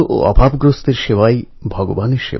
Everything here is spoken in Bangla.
এই অ্যাপ কৃষকদের জন্যও খুবই কাজের